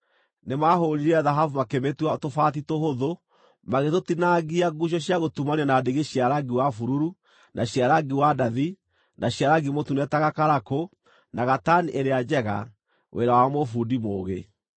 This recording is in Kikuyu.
Nĩmahũũrire thahabu makĩmĩtua tũbaati tũhũthu, magĩtũtinangia nguucio cia gũtumanio na ndigi cia rangi wa bururu, na cia rangi wa ndathi, na cia rangi mũtune ta gakarakũ, na gatani ĩrĩa njega, wĩra wa mũbundi mũũgĩ.